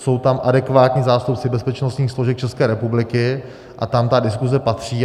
Jsou tam adekvátní zástupci bezpečnostních složek České republiky a tam ta diskuse patří.